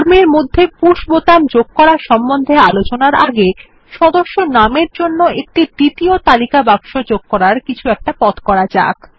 form এর মধ্যে push button যোগ করার সম্বন্ধে আলোচনার আগে সদস্য নাম এর জন্য একটি দ্বিতীয় তালিকা বাক্স যোগ করার কিছু একটা পথ করা যাক